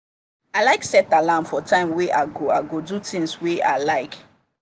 i like set alarm for time wey i go i go do things wer i like